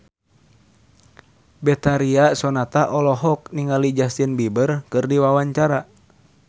Betharia Sonata olohok ningali Justin Beiber keur diwawancara